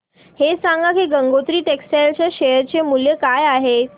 हे सांगा की गंगोत्री टेक्स्टाइल च्या शेअर चे मूल्य काय आहे